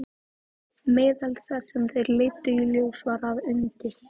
Meðal þess sem þær leiddu í ljós var að undir